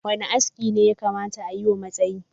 Wanda aski ne da yakata ayi wa matashi?